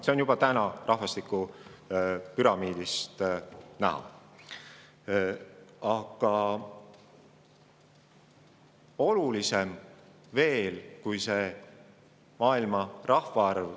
See on juba täna riikide rahvastikupüramiidide põhjal näha.